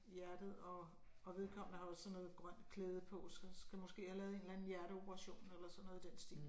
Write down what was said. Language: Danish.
Hjertet og og vedkommende har også sådan noget grønt klæde på så skal måske have lavet sådan en eller anden hjerteoperation eller noget i den stil